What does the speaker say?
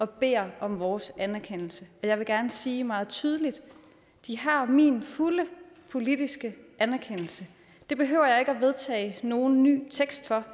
bedt om vores anerkendelse og jeg vil gerne sige meget tydeligt de har min fulde politiske anerkendelse det behøver jeg ikke at vedtage nogen ny tekst for